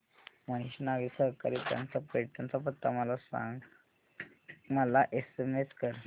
Mahesh Nagari Sahakari Bank चा पैठण चा पत्ता मला एसएमएस कर